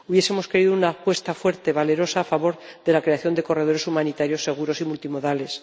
Hubiésemos querido una apuesta fuerte, valerosa a favor de la creación de corredores humanitarios seguros y multimodales